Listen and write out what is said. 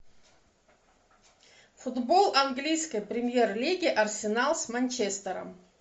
футбол английской премьер лиги арсенал с манчестером